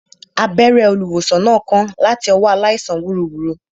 Abẹ́rẹ́ olùwòsàn náà kán láti ọwọ́ aláìsàn wúruwùru